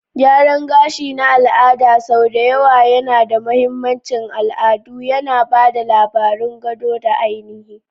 Gyaran gashi na al'ada sau da yawa yana da mahimmancin al'adu, yana ba da labarun gado da ainihi.